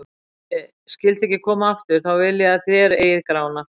Ef ég skyldi ekki koma aftur, þá vil ég að þér eigið Grána.